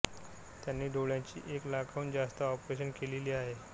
त्यांनी डोळ्यांची एक लाखाहून जास्त ऑपरेशन्स केलेली आहेत